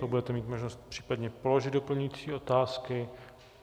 Pak budete mít možnost případně položit doplňující otázky.